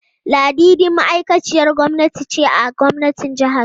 Ladidi ma'aikaciyar gwamnati ce a gwamnatin jihar.